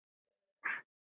Fimm mínútur yfir fjögur.